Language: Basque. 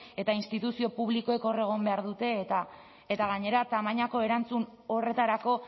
eta instituzio publikoek hor egon behar dute eta gainera tamainako erantzun horretarako